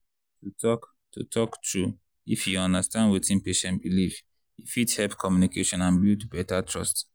to talk to talk true if you understand wetin patient believe e fit help communication and build better trust.